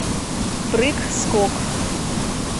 прыг скок